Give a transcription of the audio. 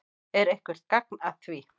Er eitthvert gagn að því?